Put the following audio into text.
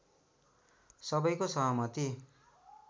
सबैको सहमति